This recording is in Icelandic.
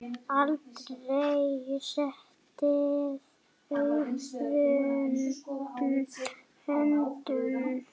Aldrei setið auðum höndum.